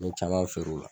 N ye caman feere o la